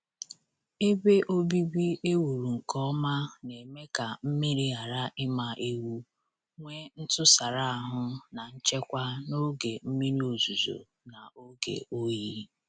Ebe obibi ewuru nke ọma na-eme ka mmiri ghara ịma ewu, nwee ntụsara ahụ na nchekwa n'oge mmiri ozuzo na oge oyi.